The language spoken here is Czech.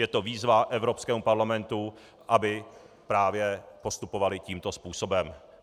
Je to výzva Evropskému parlamentu, aby právě postupoval tímto způsobem.